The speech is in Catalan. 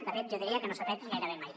de fet jo diria que no s’ha fet gairebé mai